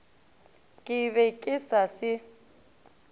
ke be ke sa se